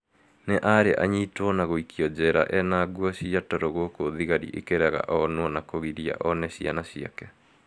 nĩ arĩ anyitwo na gũikio njera ena nguo cia toro gũkũ thigari ikĩrega onwo na kũgiria one ciana ciake